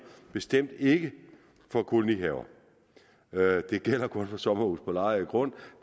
bestemt ikke for kolonihaver det gælder kun for sommerhuse på lejet grund